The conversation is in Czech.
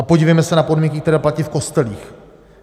A podívejme se na podmínky, které platí v kostelích.